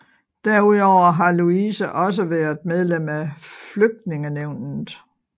Derudover har Louise også været medlem af Flytningenævnet